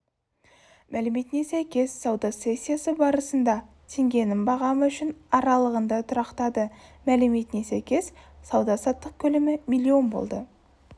мәліметіне сәйкес сауда сессиясы барысында теңгенің бағамы үшін аралығында тұрақтады мәліметіне сәйкес сауда-саттық көлемі миллион болды